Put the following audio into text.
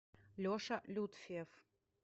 леша лютфиев